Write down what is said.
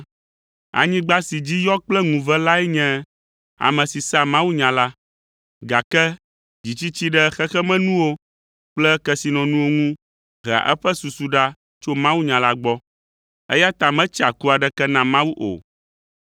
Anyigba si dzi yɔ kple ŋuve lae nye ame si sea mawunya la, gake dzitsitsi ɖe xexemenuwo kple kesinɔnuwo ŋu hea eƒe susu ɖa tso mawunya la gbɔ, eya ta metsea ku aɖeke na Mawu o.